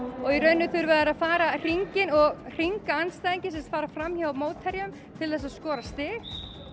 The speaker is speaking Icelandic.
og í rauninni þurfa þeir að fara hringinn og hringa andstæðinginn sem sagt fara fram hjá mótherjum til þess að skora stig